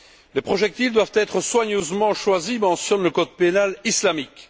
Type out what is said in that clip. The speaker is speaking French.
Les projectiles doivent être soigneusement choisis mentionne le code pénal islamique.